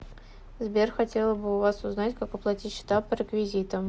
сбер хотела бы у вас узнать как оплатить счета по реквизитам